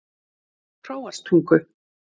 Hróarstungu